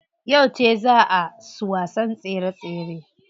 Yauce zaa su wasan tsere tsere?